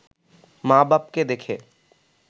মা-বাপকে দেখে